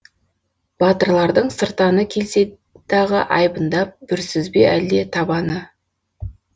батырлардың сыртаны келсе дағы айбындап бүрсіз бе әлде табаны